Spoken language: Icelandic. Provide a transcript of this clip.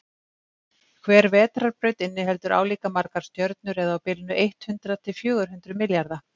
hver vetrarbraut inniheldur álíka margar stjörnur eða á bilinu eitt hundruð til fjögur hundruð milljarða